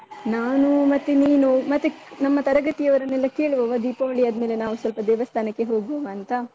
ನಾನು ಮತ್ತೆ ನೀನು, ಮತ್ತೆ ನಮ್ಮ ತರಗತಿಯವರನ್ನೆಲ್ಲ ಕೇಳುವವ ದೀಪಾವಳಿ ಆದ್ಮೇಲೆ ನಾವು ಸ್ವಲ್ಪ ದೇವಸ್ಥಾನಕ್ಕೆ ಹೋಗುವವಾ ಅಂತ?